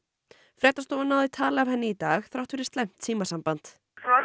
fréttastofa náði tali af henni í dag þrátt fyrir slæmt símasamband